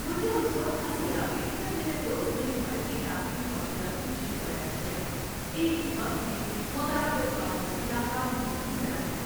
مجھے اس وقت ہنسی آ گئی جب میرے دوست نے ملٹی ٹاسکنگ کا مطلب کچھ یوں بیان کیا "ایک ہی وقت میں متعدد کاموں میں ناکام ہونے کی صلاحیت"۔